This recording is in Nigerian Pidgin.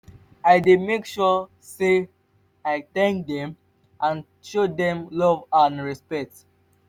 i dey make sure say i thank dem and show dem love and respect.